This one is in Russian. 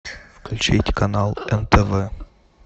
включить канал нтв